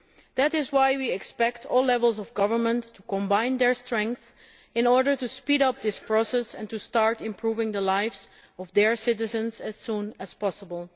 That is why we expect all levels of government to combine their strength in order to speed up this process and to start improving the lives of their citizens as soon as possible.